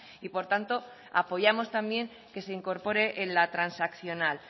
y por tanto apoyamos también que se incorpore en la transaccional